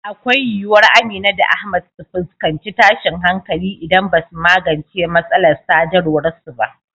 Akwai yiwuwar Amina da Ahmad su fuskanci tashin hankali idan ba su magance matsalar sadarwar su ba.